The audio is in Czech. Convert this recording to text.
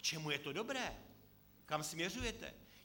K čemu je to dobré, kam směřujete?